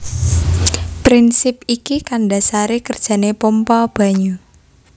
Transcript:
Prinsip iki kang ndasari kerjane pompa banyu